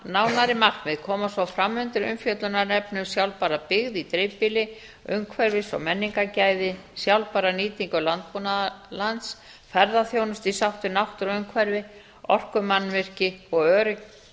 nánari markmið koma svo fram undir umfjöllunarefni um sjálfbæra byggð í dreifbýli umhverfis og menningargæði sjálfbæra nýtingu landbúnaðarlands ferðaþjónustu í sátt við náttúruumhverfi orkumannvirki og örugga